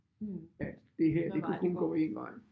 Mh hvad vej det går